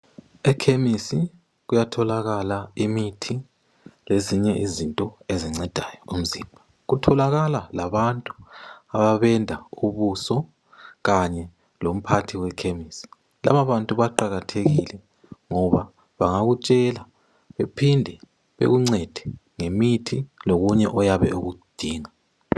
Ekhemesi kuyatholakala imithi lezinye izinto ezincedayo umzimba. Kutholakala labantu abamenda ubuso, kanye lomphathi wekhemisi. Laba abantu baqakathekile ngoba bangakutshela bephinde bakuncede ngemithi lokunye oyabe ukudinga.